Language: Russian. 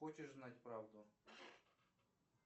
хочешь знать правду